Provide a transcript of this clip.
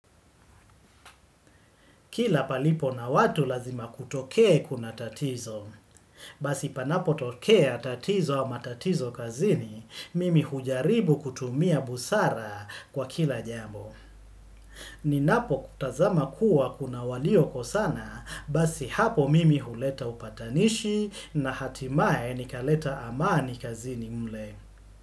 Kila palipo na watu lazima kutokee kuna tatizo. Basi panapotokea tatizo au matatizo kazini, mimi hujaribu kutumia busara kwa kila jambo. Ninapo tazama kuwa kuna waliokosana, basi hapo mimi huleta upatanishi na hatimaye nikaleta amani kazini mle.